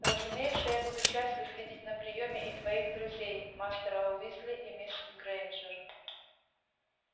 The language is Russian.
разумеется я буду счастлив видеть на приёме и твоих друзей мастера уизли и мисс грэйнджер